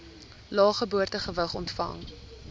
lae geboortegewig ontvang